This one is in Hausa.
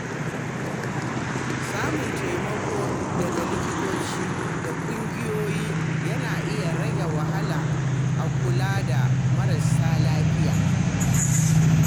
Samun taimako daga likitoci da ƙungiyoyi yana iya rage wahala a kula da marasa lafiya.